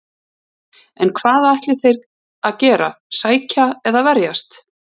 En hvað ætla þeir að gera, sækja eða verjast?